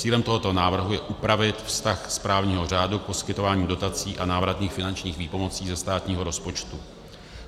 Cílem tohoto návrhu je upravit vztah z právního řádu poskytováním dotací a návratných finančních výpomocí ze státního rozpočtu.